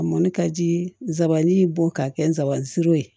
A mɔni ka ji nsabanin bɔ ka kɛ n sabanan siri ye